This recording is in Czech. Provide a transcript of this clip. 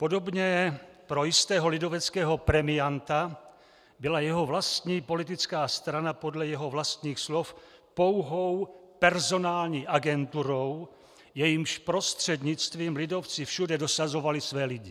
Podobně pro jistého lidoveckého premianta byla jeho vlastní politická strana podle jeho vlastních slov pouhou personální agenturou, jejímž prostřednictvím lidovci všude dosazovali své lidi.